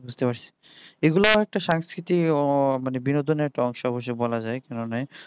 বুঝতে পারছি এগুলাও একটা সাংস্কৃতিক মানে বিনোদনের একটা অংশ একটা বলা যায়